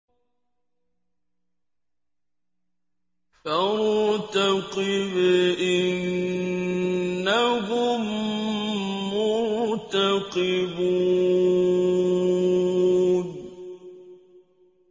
فَارْتَقِبْ إِنَّهُم مُّرْتَقِبُونَ